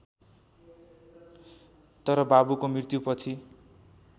तर बाबुको मृत्युपछि